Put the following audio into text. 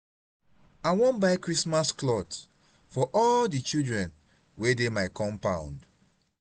i wan buy christmas cloth for all di children wey dey my compound.